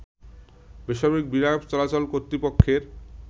বেসামরিক বিমান চলাচল কর্তৃপক্ষের